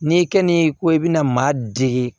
Ni kɛnin ko i bɛna maa dege